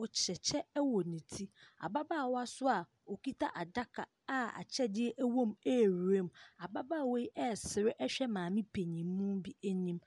Ɔhyɛ ɛwɔ ne ti. Ababaawa so a ɔkita adaka a akyɛdeɛ ɛwɔm ɛɛwuram. Ababaawa yi ɛɛsre ɛhwɛ maame penyimuu bi anim.